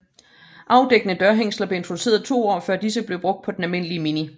Afdækkede dørhængsler blev introduceret to år før disse blev brugt på den almindelige Mini